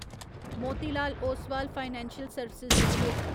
Motilal Oswal financial service limited